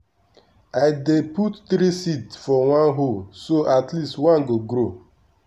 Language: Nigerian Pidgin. i dey put three seed for one hole so at least one go grow.